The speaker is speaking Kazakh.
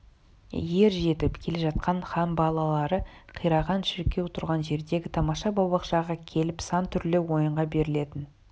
ер жетіп келе жатқан хан балалары қираған шіркеу тұрған жердегі тамаша бау-бақшаға келіп сан түрлі ойынға берілетін